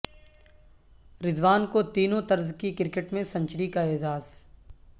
رضوان کوتینوں طرز کی کرکٹ میں سنچری کا اعزاز